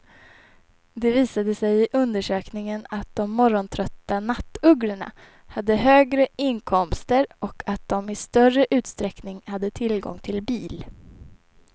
Det visade sig i undersökningen att de morgontrötta nattugglorna hade högre inkomster och att de i större utsträckning hade tillgång till bil.